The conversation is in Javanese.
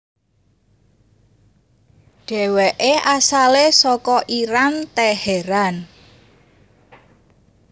Dheweke asale saka Iran Teheran